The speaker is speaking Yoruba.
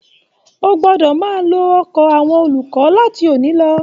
O gbọdọ máa lò ọkọ àwọn olùkọ láti òní lọ.